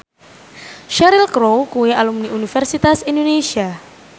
Cheryl Crow kuwi alumni Universitas Indonesia